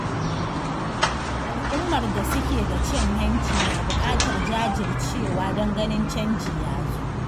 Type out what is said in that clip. Al'ummar da suke da cin hanci na buƙatar jajircewa don ganin canji ya zo.